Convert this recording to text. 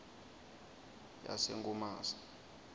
yasenkomazi